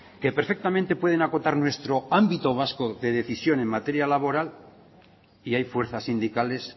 que perfectamente pueden acotar nuestro ámbito vasco de decisión en materia laboral y hay fuerzas sindicales